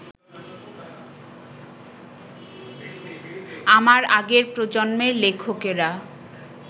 আমার আগের প্রজন্মের লেখকেরা